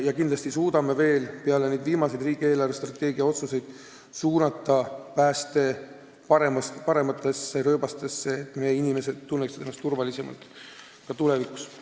Ja kindlasti suudame peale viimaseid riigi eelarvestrateegia otsuseid suunata päästetöö veel parematesse rööbastesse, et meie inimesed tunneksid ennast tulevikus turvalisemalt.